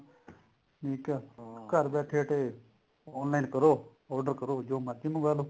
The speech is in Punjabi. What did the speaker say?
ਠੀਕ ਐ ਘਰ ਬੈਠੇ ਬੈਠੇ online ਕਰੋ order ਕਰੋ ਜੋ ਮਰਜੀ ਮੰਗਾਲੋ